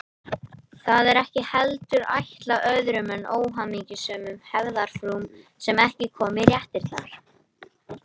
Það er ekki heldur ætlað öðrum en óhamingjusömum hefðarfrúm sem ekki koma í réttirnar.